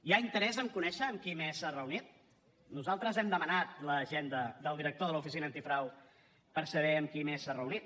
hi ha interès a conèixer amb qui més s’ha reunit nosaltres hem demanat l’agenda del director de l’oficina antifrau per saber amb qui més s’ha reunit